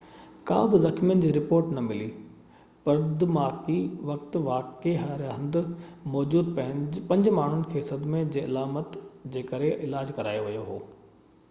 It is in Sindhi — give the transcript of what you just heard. ڪا بہ زخمين جي رپورٽ نہ ملي پرڌماڪي وقت واقعي واري هنڌ موجود پنج ماڻهن کي صدمي جي علامتن جي ڪري علاج ڪرايو ويو هو